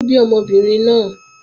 Taló bí ọmọbìnrin náà?